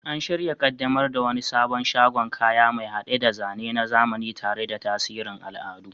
An shirya kaddamar da wani sabon shagon kaya, mai hade da zane na zamani tare da tasirin al'adu.